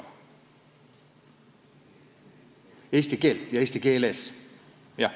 Õpetame eesti keelt ja eesti keeles, jah.